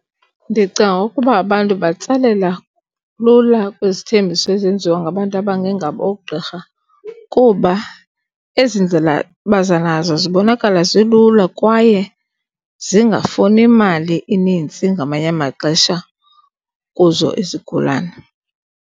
Ndicinga ngokukuba abantu batsalela lula kwizithembiso ezenziwa ngabantu abangengabo oogqirha kuba ezi ndlela baza nazo zibonakala zilula kwaye zingafuni mali inintsi ngamanye amaxesha kuzo izigulane.